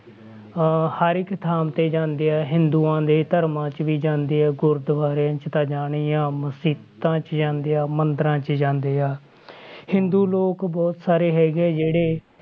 ਅਹ ਹਰ ਇੱਕ ਥਾਂ ਤੇ ਜਾਂਦੇ ਆ ਹਿੰਦੂਆਂ ਦੇ ਧਰਮਾਂ 'ਚ ਵੀ ਜਾਂਦੇ ਆ, ਗੁਰਦੁਆਰਿਆਂ 'ਚ ਤਾਂ ਜਾਣਾ ਹੀ ਆਂ, ਮਸੀਤਾਂ 'ਚ ਜਾਂਦੇ ਆ ਮੰਦਰਾਂ 'ਚ ਜਾਂਦੇ ਆ ਹਿੰਦੂ ਲੋਕ ਬਹੁਤ ਸਾਰੇ ਹੈਗੇ ਆ ਜਿਹੜੇ